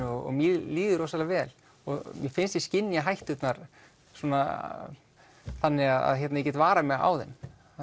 og mér líður rosalega vel og mér finnst ég skynja hætturnar þannig að ég get varað mig á þeim